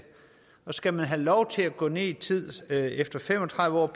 og skal man have lov til at gå ned i tid efter fem og tredive år